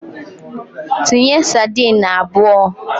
Tinye sadin abụọ!